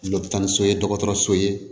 tan ni so ye dɔgɔtɔrɔso ye